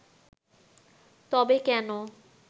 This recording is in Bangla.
তবে কেন